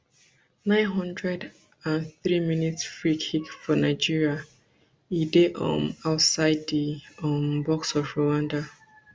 nine hundred and threeminsfree kick for nigeria e dey um outside di um box of rwanda